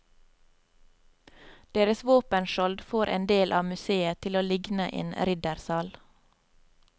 Deres våpenskjold får en del av museet til å ligne en riddersal.